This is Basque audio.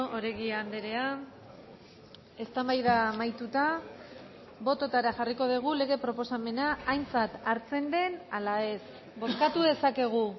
oregi andrea eztabaida amaituta bototara jarriko dugu lege proposamena aintzat hartzen den ala ez bozkatu dezakegu